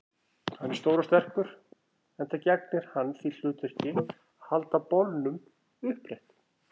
Hann er stór og sterkur, enda gegnir hann því hlutverki að halda bolnum uppréttum.